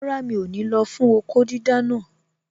Rárá, mi ò ní lọ fún okó dídá naa